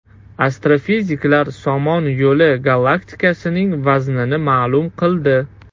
Astrofiziklar Somon Yo‘li galaktikasining vaznini ma’lum qildi.